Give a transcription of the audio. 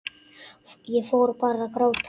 Ég fór bara að gráta.